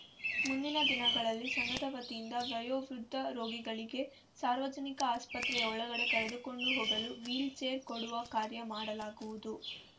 ಮುಂದಿನ ದಿನಗಳಲ್ಲಿ ಸಂಘದ ವತಿಯಿಂದ ವಯೋವೃದ್ಧ ರೋಗಿಗಳಿಗೆ ಸಾರ್ವಜನಿಕ ಆಸ್ಪತ್ರೆಯ ಒಳಗಡೆ ಕರೆದುಕೊಂಡು ಹೋಗಲು ವಿಲ್‌ ಚೇರ್‌ ಕೊಡುವ ಕಾರ್ಯ ಮಾಡಲಾಗುವುದು